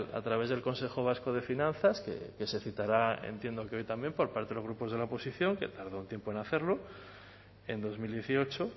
a través del consejo vasco de finanzas que se citará entiendo que hoy también por parte de los grupos de la oposición que tardó un tiempo en hacerlo en dos mil dieciocho